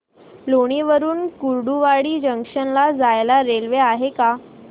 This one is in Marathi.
लोणी वरून कुर्डुवाडी जंक्शन ला जायला रेल्वे आहे का